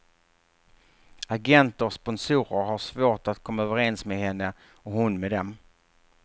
Agenter och sponsorer har svårt att komma överens med henne och hon med dem.